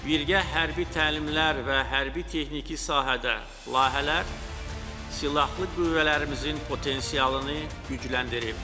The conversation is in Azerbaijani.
Birgə hərbi təlimlər və hərbi texniki sahədə layihələr silahlı qüvvələrimizin potensialını gücləndirib.